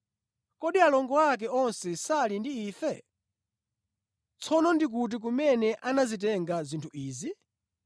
Kodi alongo ake onse sali ndi ife? Tsono ndi kuti kumene anazitenga zinthu izi?”